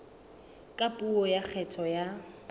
ka puo ya kgetho ya